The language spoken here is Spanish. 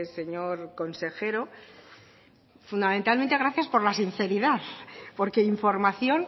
señor consejero fundamentalmente gracias por la sinceridad porque información